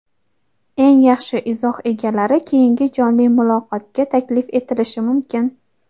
eng yaxshi izoh egalari keyingi jonli muloqotga taklif etilishi mumkin.